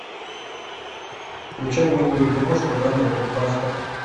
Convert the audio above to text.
включай милую киношку жанра блокбастер